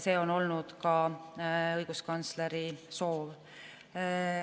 See on olnud ka õiguskantsleri soov.